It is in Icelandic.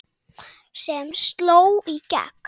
sem sló í gegn.